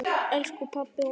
Elsku pabbi og afi.